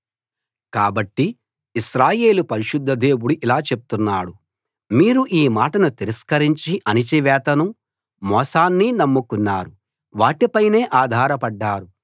కాబట్టి ఇశ్రాయేలు పరిశుద్ధ దేవుడు ఇలా చెప్తున్నాడు మీరు ఈ మాటని తిరస్కరించి అణచివేతనూ మోసాన్నీ నమ్ముకున్నారు వాటి పైనే ఆధారపడ్డారు